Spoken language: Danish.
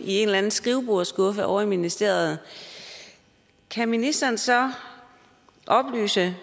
i en eller anden skrivebordsskuffe ovre i ministeriet kan ministeren så oplyse